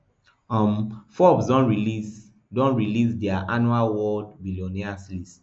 um forbes don release don release dia annual world billionaires list